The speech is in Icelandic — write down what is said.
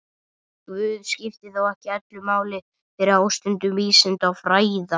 Guð skipti þó ekki öllu máli fyrir ástundun vísinda og fræða.